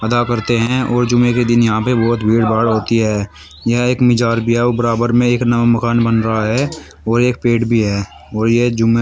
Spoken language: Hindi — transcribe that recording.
अदा करते हैं और जुम्मे के दिन यहां पे बहुत भीड़ भाड़ होती है। यह एक मजार भी है और बराबर में एक नवा मकान बन रहा है और एक पेड़ भी है और यह जुम्मे --